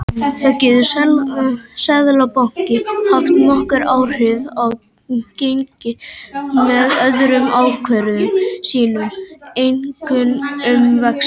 Þá getur Seðlabankinn haft nokkur áhrif á gengi með öðrum ákvörðunum sínum, einkum um vexti.